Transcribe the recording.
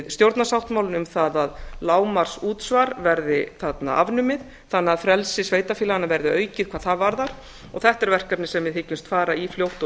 stjórnarsáttmálann um það að lágmarksútsvar verði þarna afnumið þannig að frelsi sveitarfélaganna verði aukið hvað það varðar þetta er verkefni sem við hyggjumst fara í fljótt og